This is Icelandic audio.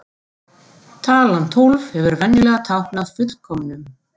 Talan tólf hefur venjulega táknað fullkomnum.